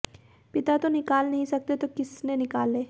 पिता तो निकाल नहीं सकते तो किस ने निकाले